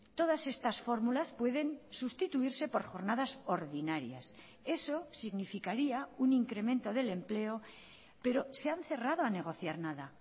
todas estas fórmulas pueden sustituirse por jornadas ordinarias eso significaría un incremento del empleo pero se han cerrado a negociar nada